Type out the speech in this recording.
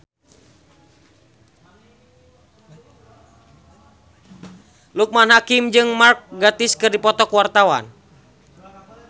Loekman Hakim jeung Mark Gatiss keur dipoto ku wartawan